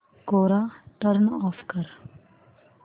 कोरा turn off कर